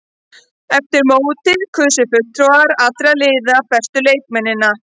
Eftir mótið kusu fulltrúar allra liða bestu leikmennina.